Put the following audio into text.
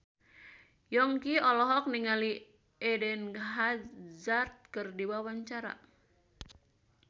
Yongki olohok ningali Eden Hazard keur diwawancara